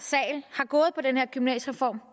af den her gymnasiereform